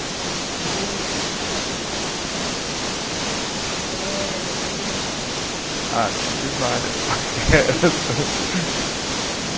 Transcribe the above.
De algum amor que você tenha passado, algum alguma paquera, assim? Ah, tive várias paqueras